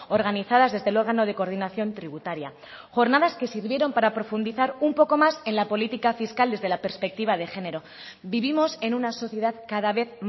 organizadas desde el órgano de coordinación tributaria jornadas que sirvieron para profundizar un poco más en la política fiscal desde la perspectiva de género vivimos en una sociedad cada vez